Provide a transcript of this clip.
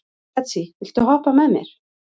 Betsý, viltu hoppa með mér?